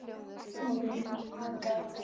Móðir mín, Alda Rós.